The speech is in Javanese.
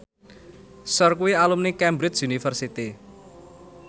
Cher kuwi alumni Cambridge University